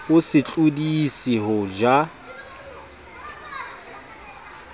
o se tlodise ho ja